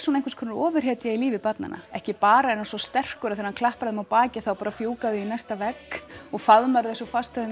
eins konar ofurhetja í lífi barnanna ekki bara er hann svo sterkur að þegar hann klappar þeim á bakið þá bara fjúka þau í næsta vegg og faðmar þau svo fast að þau